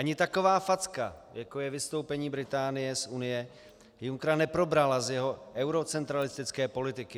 Ani taková facka, jako je vystoupení Británie z Unie, Junckera neprobrala z jeho eurocentralistické politiky.